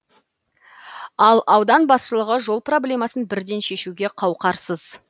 ал аудан басшылығы жол проблемасын бірден шешуге қауқарсыз